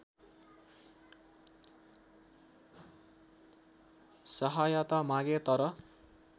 सहायता मागे तर